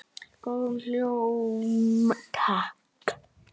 Góðan hljóm, takk!